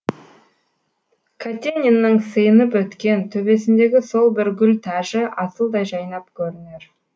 катениннің сыйынып өткен төбесіндегі сол бір гүл тәжі асылдай жайнап көрінер